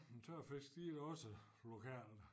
Men tørfisk de da også lokale